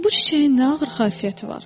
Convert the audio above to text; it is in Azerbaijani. Bu çiçəyin nə ağır xasiyyəti var?